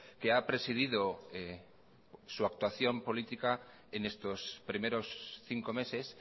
que ha presidido su actuación política en estos primeros cinco meses